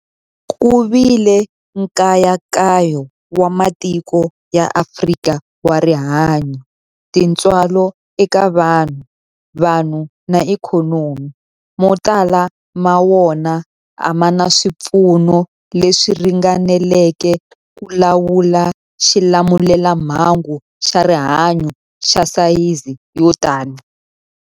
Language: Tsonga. Ku vile nkayakayo wa matiko ya Afrika wa rihanyu, tintswalo eka vanhu, vanhu na ikhonomi, mo tala ma wona a ma na swipfuno leswi ringaneleke ku lawula xilamulelamhangu xa rihanyu xa sayizi yo tani.